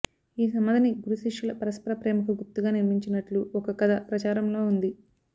ఈ సమాధిని గురు శిష్యుల పరస్పర ప్రేమకు గుర్తుగా నిర్మించినట్లు ఒక కధ ప్రచారంలో ఉంది